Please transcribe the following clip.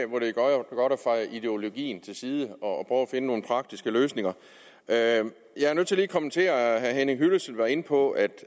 godt at feje ideologien til side og prøve at finde nogle praktiske løsninger jeg er nødt til lige at kommentere at herre henning hyllested var inde på at